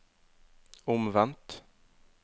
omvendt